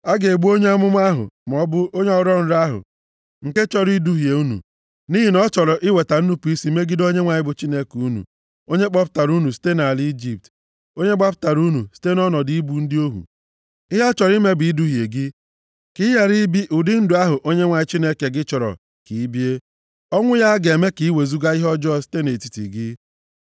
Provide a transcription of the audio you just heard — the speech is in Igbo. A ga-egbu onye amụma ahụ maọbụ onye ọrọ nrọ ahụ nke chọrọ iduhie unu, nʼihi na ọ chọrọ iweta nnupu isi megide Onyenwe anyị bụ Chineke unu, onye kpọpụtara unu site nʼala Ijipt, onye gbapụtara unu site nʼọnọdụ ịbụ ndị ohu. Ihe ọ chọrọ ime bụ iduhie gị, ka ị ghara ibi ụdị ndụ ahụ Onyenwe anyị Chineke gị chọrọ ka i bie. Ọnwụ ya ga-eme ka i wezuga ihe ọjọọ site nʼetiti gị.